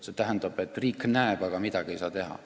See tähendab, et riik küll näeb, aga midagi ei saa teha.